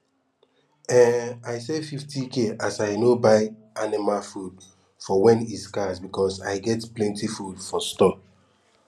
um i save 50k as i no buy anima food for wen e scarce because i get plenti food for store